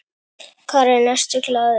Karen: Ertu glaður?